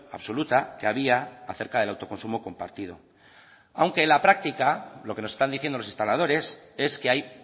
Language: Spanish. absoluta que había acerca del autoconsumo compartido aunque en la práctica lo que nos están diciendo los instaladores es que hay